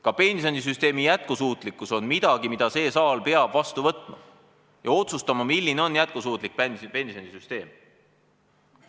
Ka pensionisüsteemi jätkusuutlikkus on midagi, mille see saal peab vastu võtma, ja peab otsustama, milline on jätkusuutlik pensionisüsteem.